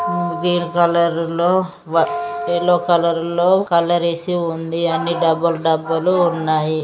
Beer colour లో yellow colour లో colour వేసి ఉంది. అండి అన్ని డబ్బులు డబ్బులు ఉన్నాయి.